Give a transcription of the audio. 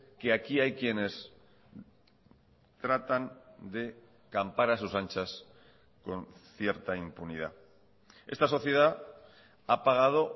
que aquí hay quienes tratan de campar a sus anchas con cierta impunidad esta sociedad ha pagado